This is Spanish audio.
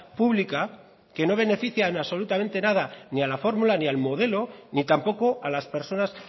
pública que no beneficia absolutamente nada ni a la formula ni al modelo ni tampoco a las personas